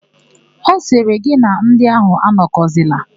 Ọ sịrị, "gị na ndị áhụ̀ anọkọzila"!